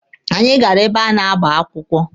Anyị gara ebe a na-agba akwụkwọ.